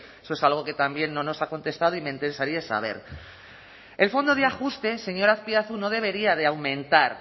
eso es algo que también no nos ha contestado y me interesaría saber el fondo de ajuste señor azpiazu no debería de aumentar